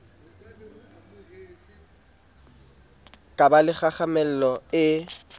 ka ba le kgahlamelo e